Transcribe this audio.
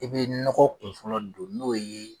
I bɛ nɔgɔ kun fɔlɔ don n'o ye.